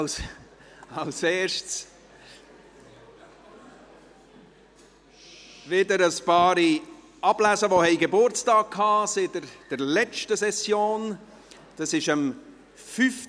Als Erstes lese ich wieder ein paar Namen von Personen vor, die seit der letzten Session Geburtstag hatten.